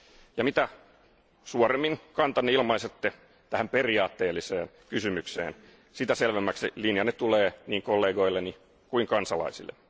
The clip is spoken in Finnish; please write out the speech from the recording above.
Ja mitä suoremmin kantanne ilmaisette tähän periaatteelliseen kysymykseen, sitä selvemmäksi linjanne tulee niin kollegoilleni kuin kansalaisille.